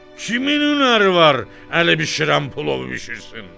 Kimin ürəyi var, əli bişirən plov bişirsin.